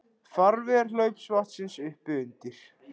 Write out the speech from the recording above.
Farvegur hlaupvatnsins uppi undir